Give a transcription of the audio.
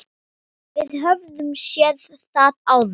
Við höfum séð það áður.